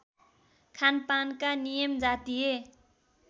खानपानका नियम जातीय